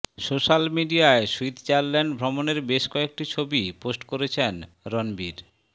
social মিডিয়ায় Switzerland ভ্রমণের বেশ কয়েকটি ছবি পোস্ট করেছেন রণবীর